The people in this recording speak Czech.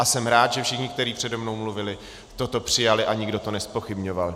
A jsem rád, že všichni, kteří přede mnou mluvili, toto přijali a nikdo to nezpochybňoval.